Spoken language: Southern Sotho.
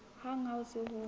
hang ha ho se ho